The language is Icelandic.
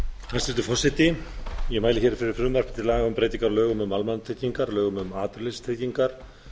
hæstvirtur forseti ég mæli hér fyrir frumvarpi til laga um breytingar á lögum um almannatryggingar lögum um atvinnuleysistryggingar